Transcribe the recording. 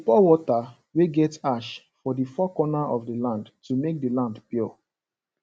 we dey pour water wey get ash for the four corner of the land to make the land pure